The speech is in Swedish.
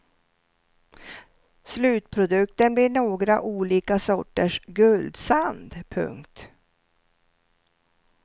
Slutprodukten blir några olika sorters guldsand. punkt